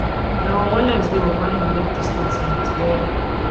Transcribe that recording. na on wednesday umahi make di statement wen